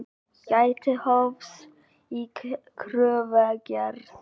Gæti hófs í kröfugerð